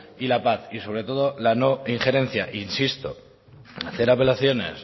y la paz y sobre todo la no injerencia insisto hacer apelaciones